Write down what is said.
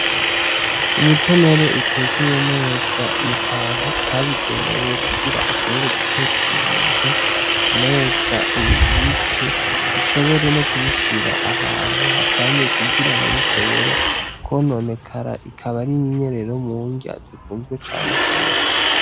Umutonore utekeye neza mu kantu kabigenewe, kugira ushobore gutekera ibi bintu neza ubibike, ushobore no kubishira ahantu hatekanye, kugira ntibishobore